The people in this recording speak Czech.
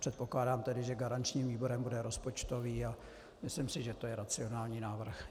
Předpokládám tedy, že garančním výborem bude rozpočtový, a myslím si, že to je racionální návrh.